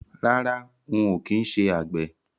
Rárá, ń ó kin ṣé àgbẹ̀